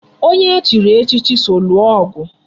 Onye e chiri echichi so lụọ ọgụ